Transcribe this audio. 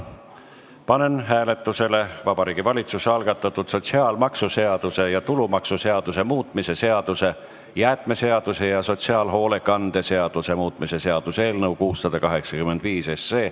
Panen hääletusele Vabariigi Valitsuse algatatud sotsiaalmaksuseaduse ja tulumaksuseaduse muutmise seaduse, jäätmeseaduse ja sotsiaalhoolekande seaduse muutmise seaduse eelnõu 685.